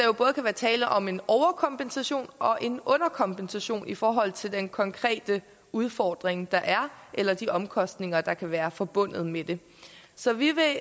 jo både kan være tale om en overkompensation og en underkompensation i forhold til den konkrete udfordring der er eller de omkostninger der kan være forbundet med det så vi vil